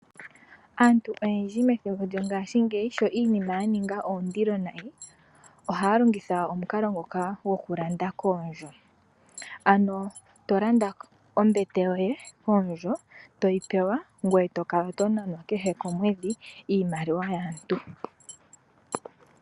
Aantu oyendji methimbo lyo ngaashingeyi sho iinima ya ninga oondilo nayi, ohaya longitha omukalo ngoka goku landa koondjo, ano to landa ombete yoye koondjo toyi pewa, ngoye to kala to nanwa kehe komwedhi iimaliwa yaantu.